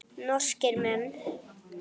Norskir menn.